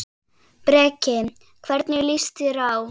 Breki: Hvernig líst þér á?